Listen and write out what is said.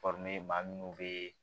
maa minnu bɛ